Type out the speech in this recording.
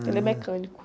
Ah.le é mecânico.